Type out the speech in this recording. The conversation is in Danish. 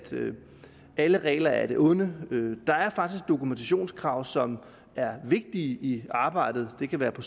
alle regler er af det onde der er faktisk dokumentationskrav som er vigtige i arbejdet det kan være på